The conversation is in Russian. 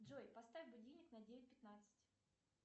джой поставь будильник на девять пятнадцать